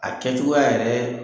A kɛcogoya yɛrɛ